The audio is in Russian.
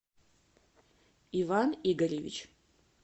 иван игоревич